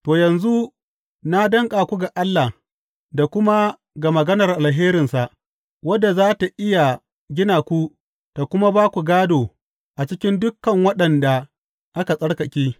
To, yanzu na danƙa ku ga Allah da kuma ga maganar alherinsa, wadda za tă iya gina ku ta kuma ba ku gādo a cikin dukan waɗanda aka tsarkake.